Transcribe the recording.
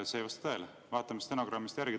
See ei vasta tõele, vaatame stenogrammist järgi.